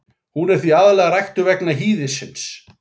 Hún er því aðallega ræktuð vegna hýðisins.